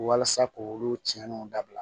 Walasa k'olu tiɲɛniw dabila